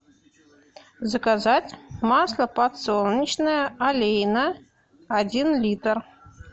заказать масло подсолнечное олейна один литр